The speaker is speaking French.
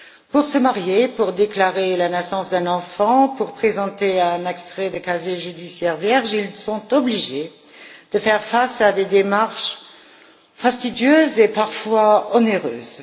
Pour se marier, pour déclarer la naissance d'un enfant, pour présenter un extrait de casier judiciaire vierge, ils sont obligés de faire face à des démarches fastidieuses et parfois onéreuses.